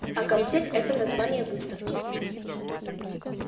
а комтек это название выставки